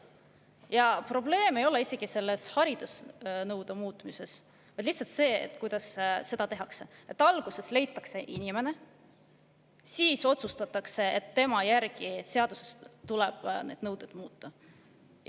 Ja probleem ei ole isegi haridusnõude muutmises, vaid selles, kuidas seda tehakse – alguses leitakse inimene, siis otsustatakse, et tema järgi tuleb seaduses mingeid nõudeid muuta.